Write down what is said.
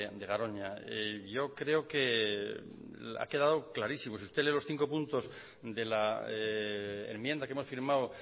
de garoña yo creo que ha quedado clarísimo si usted lee los cinco puntos de la enmienda que hemos firmado